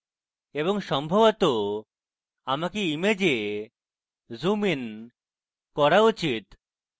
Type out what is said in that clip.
এবং সম্ভবত আমাকে image zoom ইন করা উচিত